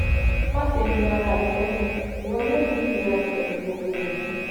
Maṣe yọ ara rẹ lẹnu, iwọ yoo ni ilera pẹlu gbogbo eyi